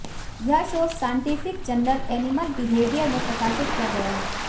यह शोध scientific journal Animal Behaviour में प्रकाशित किया गया है